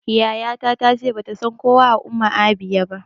Yaya ta ta ce bata san kowa a Umuahia ba